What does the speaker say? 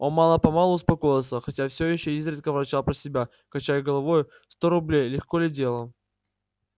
он мало-помалу успокоился хотя всё ещё изредка ворчал про себя качая головою сто рублей легко ли дело